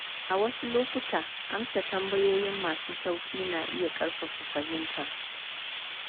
A wasu lokuta, amsa tambayoyi masu sauƙi na iya ƙarfafa fahimta.